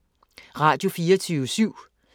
Radio24syv